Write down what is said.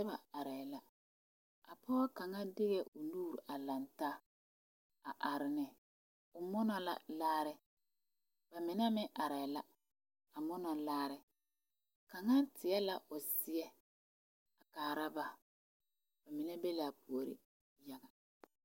Noba arɛɛ la a pɔge kaŋa deɛ o nuure a lantaa a are ne o munɔ la laare ba mine meŋ arɛɛ la a monɔ laare kaŋa tie la o seɛ a kaara ba ba mine be laa puori yaga